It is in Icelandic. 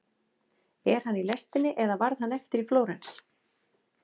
Er hann í lestinni eða varð hann eftir í Flórens?